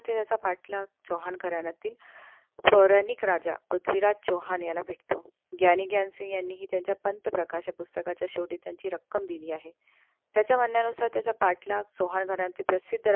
याचा पाठलाग चौहान करायला लागतील. पौराणिक राजा पृथ्वीराज चौहान याला भेटतो. ग्यानी ग्यानसिग यांनीही यांचा पंथ प्रकाश या पुस्तकाच्या शेवटी त्यांची रक्कम दिली आहे. त्याच्या म्हण्यानुसार त्याचा पाठलाग चौहान घराण्यातील प्रसिद्ध राजा